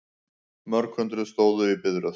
Mörg hundruð stóðu í biðröð